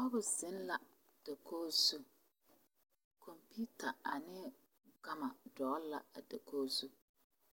Noba zeŋ la a dakogi zu kompeta ane gama dogli la a dakoi zu